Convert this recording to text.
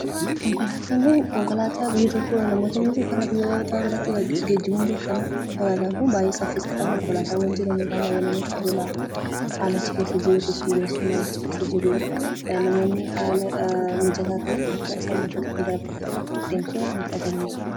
Konkolaataan kun konkolaataa namoota biyya tokko irraa gara biraatti geejjibuun beekamu. Konkolaataan kun baay'ee saffisaadha. Haalli achi keessa jiru, keessummeessitootni achi keessa jiran baay'ee namatti tolu. Namoonni bakka tokko irraa gara biraatti haala mijataa ta'een akka deeman tajaajila.